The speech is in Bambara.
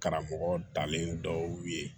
Karamɔgɔ dalen dɔw ye